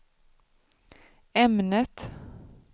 ämnet